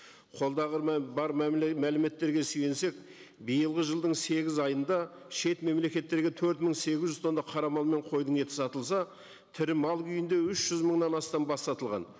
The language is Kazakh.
қолдағы бар мәліметтерге сүйенсек биылғы жылдың сегіз айында шет мемлекеттерге төрт мың сегіз жүз тонна қара мал мен қойдың еті сатылса тірі мал күйінде үш жүз мыңнан астам бас сатылған